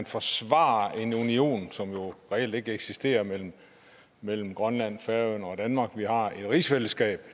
forsvare en union som reelt ikke eksisterer mellem mellem grønland færøerne og danmark vi har et rigsfællesskab